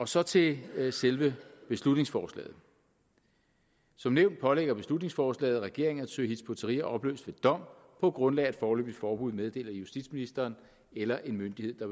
så til selve beslutningsforslaget som nævnt pålægger beslutningsforslaget regeringen at søge hizb ut tahrir opløst ved dom på grundlag af et foreløbigt forbud meddelt af justitsministeren eller af en myndighed der